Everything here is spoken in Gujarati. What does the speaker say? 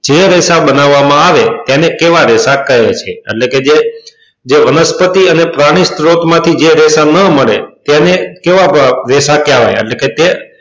જે રેશા બનવવા માં આવે તેને કેવા રેશા કહે છે એટલે કે જે જેબ વનસ્પતિ કે પરની સ્ત્રોત માં થી જે રેશા નાં મળે તેને કેવા રેશા કહેવાય એટલે કે તે